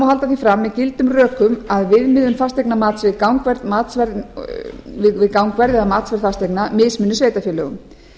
halda því fram með gildum rökum að viðmiðun fasteignamats við gangverð að mati fasteigna mismuni sveitarfélögum